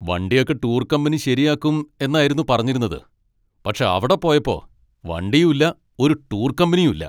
വണ്ടിയൊക്കെ tour company ശരിയാക്കും എന്നായിരുന്നു പറഞ്ഞിരുന്നത്, പക്ഷെ അവിടെ പോയപ്പോ വണ്ടിയും ഇല്ല ഒരു ടൂർ കമ്പനിയും ഇല്ല!